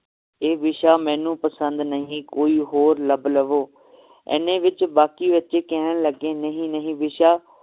ਇਹ ਵਿਸ਼ਾ ਮੈਨੂੰ ਪਸੰਦ ਨਹੀ ਕੋਈ ਹੋਰ ਲੱਭ ਲਵੋ ਇਹਨੇ ਵਿਚ ਬਾਕੀ ਬਚੇ ਕਹਿਣ ਲੱਗੇ ਨਹੀਂ ਨਹੀਂ ਵਿਸ਼ਾ